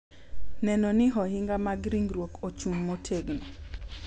Neno ni ohinga mag ringruok ochung’ motegno